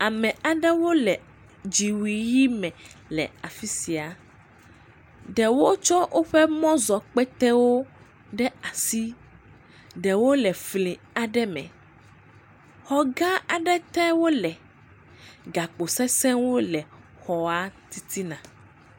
Ame aɖewo le dziwui ʋɛ̃ me le afi sia, ɖewo tsɔ wotsɔ mɔzɔkpetewo ɖe asi, ɖewo le fli aɖe me, xɔ gã aɖe te wole, gakpo sesẽ aɖewo le xɔa titina.